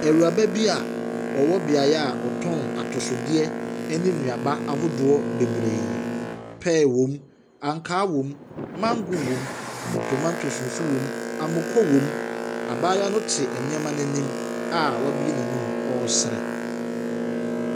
Awuraba bi a ɔwɔ beaeɛ a wɔtɔn atosodeɛ ne nnuaba ahodoɔ bebree. Pear wom, ankaa wom, mango wom, tomatoes nso wom, mmako wom. Abaayewa no te nneɛma no anim a wabue n'anom ɔresere.